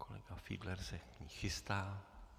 Kolega Fiedler se k ní chystá.